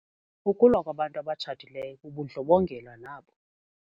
Ukulwa kwabantu abatshatileyo bubundlobongela nabo.